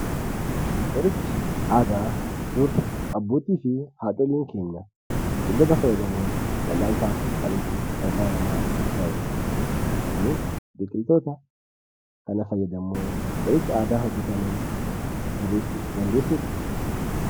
Qorichi aadaa yookiis abbootii fi haadholiin keenya biqiltoota fayyadamuun wal'aansaaf kan itti gargaaramaa jiranidha. Isinis biqiltoota kana fayyadamuun qoricha aadaa hojjetaman tarreeessuu dandeessuu?